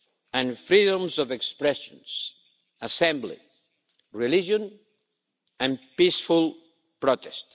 and the freedoms of expression, assembly, religion and peaceful protest.